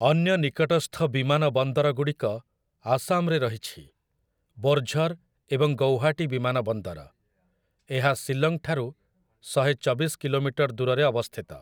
ଅନ୍ୟ ନିକଟସ୍ଥ ବିମାନ ବନ୍ଦରଗୁଡ଼ିକ ଆସାମରେ ରହିଛି, ବୋର୍ଝର୍ ଏବଂ ଗୌହାଟୀ ବିମାନ ବନ୍ଦର । ଏହା ଶିଲଂଠାରୁ ଶହେଚବିଶ କିଲୋମିଟର ଦୂରରେ ଅବସ୍ଥିତ ।